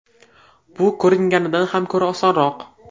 Bu ko‘ringanidan ham ko‘ra osonroq.